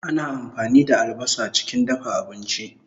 Ana ampani da albasa chikin dafa abinchi